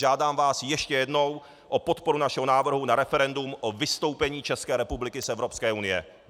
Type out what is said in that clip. Žádám vás ještě jednou o podporu našeho návrhu na referendum o vystoupení České republiky z Evropské unie.